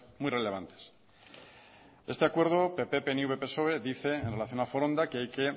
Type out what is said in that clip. muy relevantes este acuerdo pp pnv y psoe dice en relación a foronda que hay que